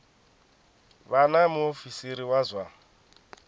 vha na muofisiri wa zwa